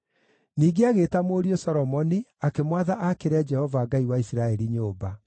Ningĩ agĩĩta mũriũ Solomoni akĩmwatha aakĩre Jehova Ngai wa Isiraeli nyũmba.